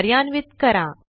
कार्यान्वित करा